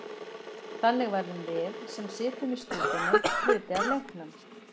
Þannig verðum við, sem sitjum í stúkunni, hluti af leiknum.